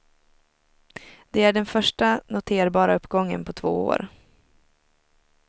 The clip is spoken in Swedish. Det är den första noterbara uppgången på två år.